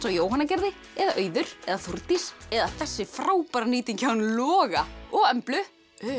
Jóhanna gerði eða Auður eða Þórdís eða þessi frábæra nýting hjá honum Loga og Emblu